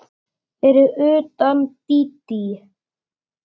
Fyrir utan Dídí.